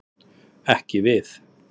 Ekki við.